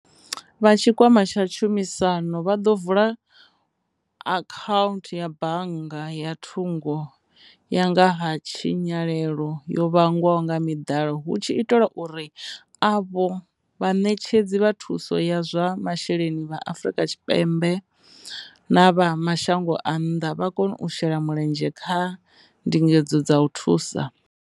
Vha tshikwama tsha tshumisano vha ḓo vula akhauntu ya bannga ya thungo ya nga ha tshinyalelo yo vhangwaho nga miḓalo hu tshi itelwa uri avho vhaṋetshedzi vha thuso ya zwa masheleni vha fhano Afrika Tshipembe na vha mashango a nnḓa vha kone u shela mulenzhe kha ndingedzo dza u thusa.